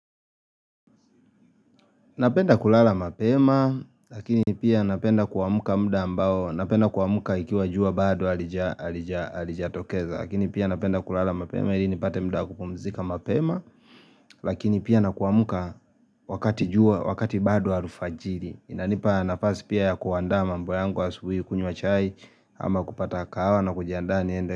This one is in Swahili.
Napenda kulala mapema, lakini pia napenda kuamka muda ambao, napenda kuamka ikiwa jua bado halijatokeza, lakini pia napenda kulala mapema, ili nipate muda wa kupumzika mapema, lakini pia nakuamuka wakati jua, wakati bado alfajiri. Inanipa nafasi pia ya kuandaa mambo yangu asubuhi kunywa chai, ama kupata kahawa na kujiandaa niende.